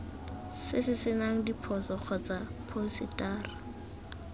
se senang diphoso kgotsa phousetara